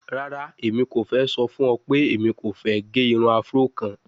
Rara, Emi ko fẹ sọ fun ọ pe Emi ko fẹ ge irun Afro kan